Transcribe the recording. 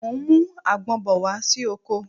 Mo ń mú àgbon bọ̀ wá sí oko